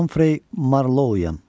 Humphrey Marlowyam.